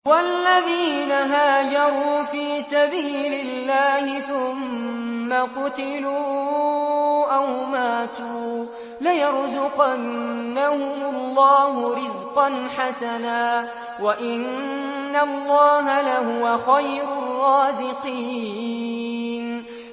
وَالَّذِينَ هَاجَرُوا فِي سَبِيلِ اللَّهِ ثُمَّ قُتِلُوا أَوْ مَاتُوا لَيَرْزُقَنَّهُمُ اللَّهُ رِزْقًا حَسَنًا ۚ وَإِنَّ اللَّهَ لَهُوَ خَيْرُ الرَّازِقِينَ